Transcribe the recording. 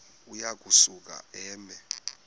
uya kusuka eme